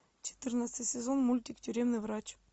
четырнадцатый сезон мультик тюремный врач